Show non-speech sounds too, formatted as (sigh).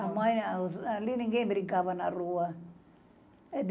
(unintelligible) Ali ninguém brincava na rua.